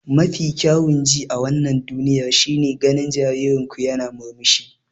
Mafi kyawun ji a wannan duniyar shine ganin jaririn ku yana murmushi.